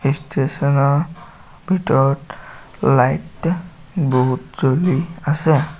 ষ্টেচনৰ ভিতৰত লাইট বহুত জ্বলি আছে।